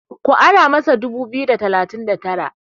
ku ara masa dubu biyu da talatin da Tara?